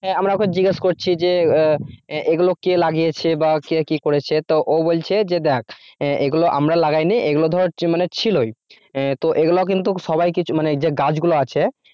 আমরা ওকে জিজ্ঞেস করছি যে এগুলো কে লাগিয়েছে বা কে কি করেছে তো ও বলছে যে দেখ এগুলো আমরা লাগাইনি এগুলো ধর মানে ছিলই তো এগুলা কিন্তু সবাইকে মানে যে গাছগুলো আছে